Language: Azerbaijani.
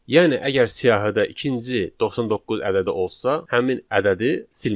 Yəni əgər siyahıda ikinci 99 ədədi olsa, həmin ədədi silməyəcək.